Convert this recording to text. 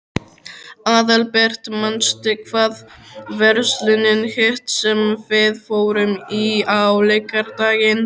Aðalbert, manstu hvað verslunin hét sem við fórum í á laugardaginn?